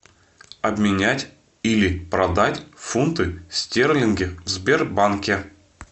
обменять или продать фунты стерлинги в сбербанке